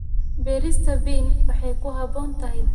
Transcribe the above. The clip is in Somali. Beerista bean waxay ku habboon tahay deegaanno kala duwan.